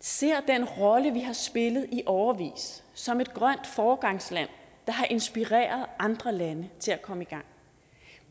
ser den rolle vi har spillet i årevis som et grønt foregangsland der har inspireret andre lande til at komme i gang